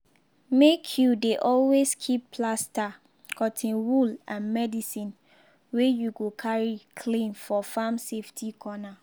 make you dey always keep plaster cotton wool and medicine wey you go carry clean for farm safety corner.